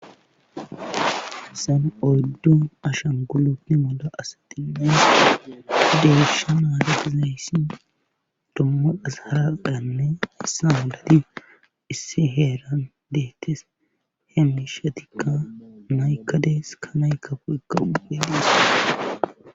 sen oddu ashan gulotni mola asatinna deesha naadetizzeyssi dommudas haraqaanne issa haladi issi heeran deettis he mishatikka naykka dees ka naykafu ekka upe dessa